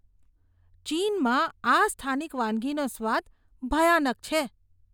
ચીનમાં આ સ્થાનિક વાનગીનો સ્વાદ ભયાનક છે.